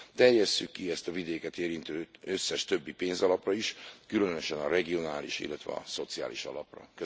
Terjesszük ki ezt a vidéket érintő összes többi pénzalapra is, különösen a regionális, illetve a szociális alapra.